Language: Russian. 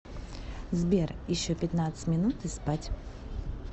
сбер еще пятнадцать минут и спать